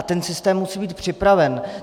A ten systém musí být připraven.